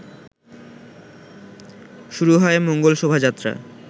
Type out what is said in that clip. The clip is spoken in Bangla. শুরু হয় মঙ্গল শোভাযাত্রা